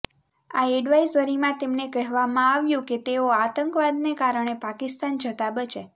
આ એડવાઈઝરીમાં તેમને કહેવામાં આવ્યું કે તેઓ આતંકવાદને કારણે પાકિસ્તાન જતાં બચે